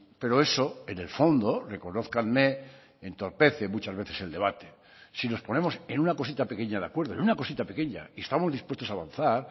pero eso en el fondo reconózcanme entorpece muchas veces el debate si nos ponemos en una cosita pequeña de acuerdo en una cosita pequeña y estamos dispuestos a avanzar